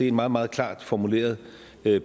et meget meget klart formuleret